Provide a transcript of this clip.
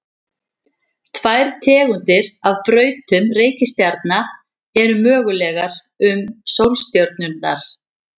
tvær tegundir af brautum reikistjarna eru mögulegar um sólstjörnurnar